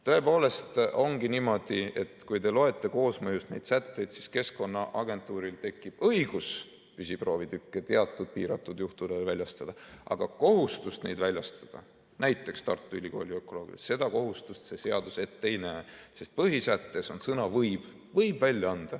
Tõepoolest ongi niimoodi, et kui te loete koosmõjus neid sätteid, siis Keskkonnaagentuuril tekib õigus püsiproovitükkide teatud piiratud juhtudel väljastada, aga kohustust neid väljastada – näiteks Tartu Ülikooli ökoloogidele – see seadus ette ei näe, sest põhisättes on sõna "võib".